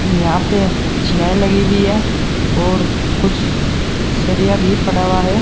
यहां पे लगी हुई है और कुछ सरिया भी पड़ा हुआ है।